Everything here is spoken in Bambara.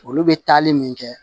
Olu bɛ taali min kɛ